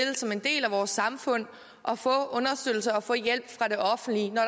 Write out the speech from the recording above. som en del af vores samfund at få understøttelse og få hjælp fra det offentlige når